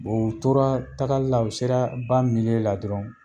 u tora tagali u sera ba la dɔrɔn